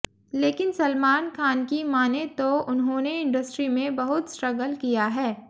लेकिन सलमान खान की मानें तो उन्होंने इंडस्ट्री में बहुत स्ट्रगल किया है